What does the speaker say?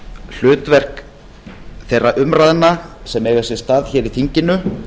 hlutverk þeirra umræðna sem eiga sér stað hér í þinginu